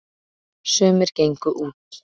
sumir gengu út